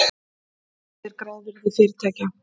Hvað er grávirði fyrirtækja?